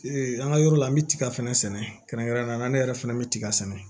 an ka yɔrɔ la n bɛ tiga fɛnɛ sɛnɛ kɛrɛnkɛrɛn na ne yɛrɛ fɛnɛ bɛ tiga sɛnɛ